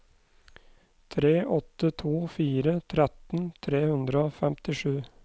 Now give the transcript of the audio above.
tre åtte to fire tretten tre hundre og femtisju